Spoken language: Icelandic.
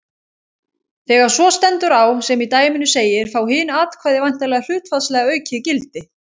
Þegar svo stendur á sem í dæminu segir fá hin atkvæði væntanlega hlutfallslega aukið gildi.